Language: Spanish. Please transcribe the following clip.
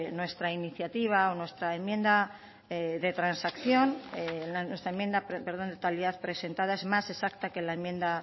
nuestra iniciativa o nuestra enmienda de a la totalidad presentada es más exacta que la enmienda